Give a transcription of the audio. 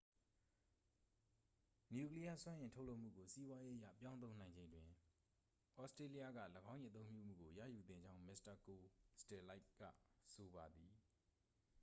နျူကလီးယား စွမ်းအင် ထုတ်လုပ်မှုကို စီးပွားရေးအရ ပြောင်းသုံးနိုင်ချိန်တွင် သြစတြေးလျက ၎င်း၏ အသုံးပြုမှုကို ရယူသင့်ကြောင်း မစ္စတာ ကိုစတယ်လိုက ဆိုပါသည်